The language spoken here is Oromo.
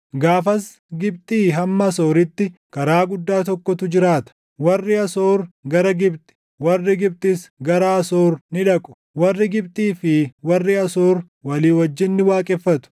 Gaafas Gibxii hamma Asooritti karaa guddaa tokkotu jiraata. Warri Asoor gara Gibxi, warri Gibxis gara Asoor ni dhaqu. Warri Gibxii fi warri Asoor walii wajjin ni waaqeffatu.